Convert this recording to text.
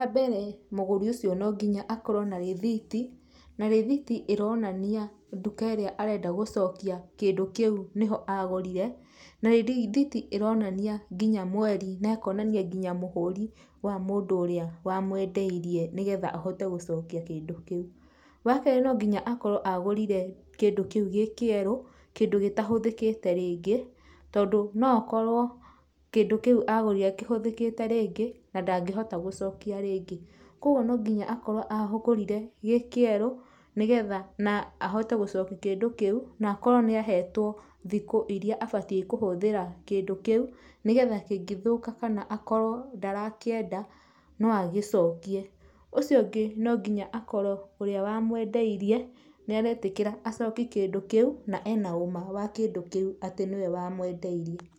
Wambere mũgũri ũcio no nginya akorwo na rĩthiti. Na rĩthiti ĩronania nduka ĩrĩa arenda gũcokia kĩndũ kĩu nĩho agũrire. Na rĩthiti ĩronania nginya mweri, na ĩkonania nginya mũhũri wa mũndũ ũrĩa wamwendeirie nĩgetha ahote gũcokia kĩndũ kĩu. Wakerĩ no nginya akorwo agũrire kĩndũ kĩu gĩ kĩerũ, kĩndũ gĩtahũthĩkĩte rĩngĩ, tondũ no okorwo, kĩndũ kĩu agũrire kĩhũthĩkĩte rĩngĩ, na ndangĩhota gũcokia rĩngĩ. Kuoguo no nginya akorwo agũrire gĩ kĩerũ nĩgetha na ahote gũcokia kĩndũ kĩu, na akorwo nĩahetũo thikũ iria abatiĩ kũhũthĩra kĩndũ kĩu, nĩgetha kĩngĩthũka kana akorwo ndarakĩenda, no agĩcokie. Ũcio ũngĩ no nginya akorwo ũrĩa wamwendeirie nĩaretĩkĩra acokie kĩndũ kĩu, na ena ũma wa kĩndũ kĩu atĩ nĩwe wamwendeirie.